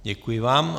Děkuji vám.